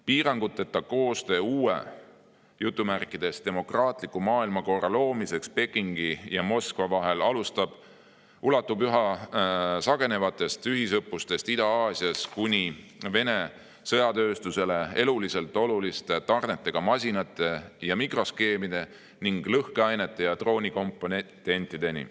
Piiranguteta koostöö uue "demokraatliku maailmakorra" loomiseks Pekingi ja Moskva vahel ulatub üha sagenevatest ühisõppustest Ida-Aasias kuni Vene sõjatööstusele eluliselt oluliste masinate ja mikroskeemide ning lõhkeainete ja droonikomponentide tarneteni.